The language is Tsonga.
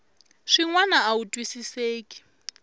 swin wana a wu twisiseki